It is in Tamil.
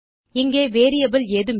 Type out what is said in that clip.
இங்கே வேரியபிள் ஏதும் இல்லை